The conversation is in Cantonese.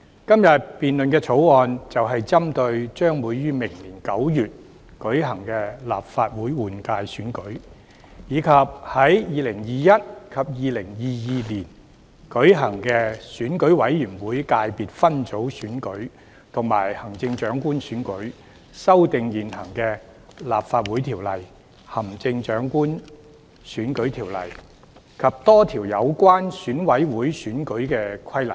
今天辯論的《條例草案》，就是針對將於明年9月舉行的立法會換屆選舉，以及在2021年及2022年舉行的選舉委員會界別分組選舉及行政長官選舉，修訂現行的《立法會條例》、《行政長官選舉條例》及多項有關選委會選舉的規例。